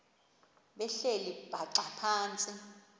behleli bhaxa phantsi